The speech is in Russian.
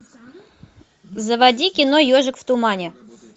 заводи кино ежик в тумане